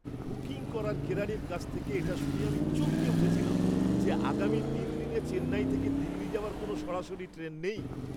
Booking করার কেরানির কাছ থেকে এটা শুনে আমি চমকে উঠেছিলাম যে, আগামী তিন দিনে চেন্নাই থেকে দিল্লি যাওয়ার কোনও সরাসরি ট্রেন নেই।